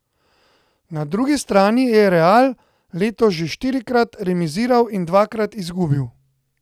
Na drugi strani je Real letos že štirikrat remiziral in dvakrat izgubil.